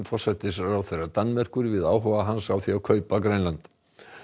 forsætisráðherra Danmerkur við áhuga hans á því að kaupa Grænland